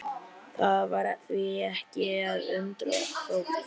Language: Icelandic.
Það var því ekki að undra þótt